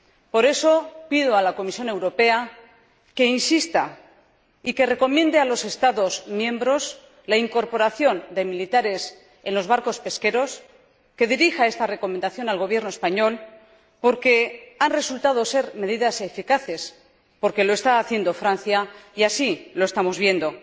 Por eso, pido a la Comisión Europea que insista y que recomiende a los Estados miembros la incorporación de militares en los barcos pesqueros, y que dirija esta recomendación al Gobierno español porque ha resultado ser una medida eficaz, Francia lo está haciendo y así lo estamos viendo.